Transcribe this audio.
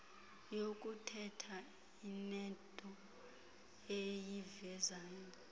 yokuthetha inento eyivezayo